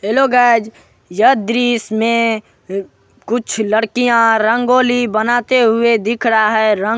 hello guys यह दृश्य में कुछ लड़किया रंगोली बनाते हुए दिख रहा है रंग--